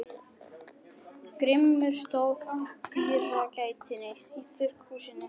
Grímur stóð í dyragættinni á þurrkhúsinu.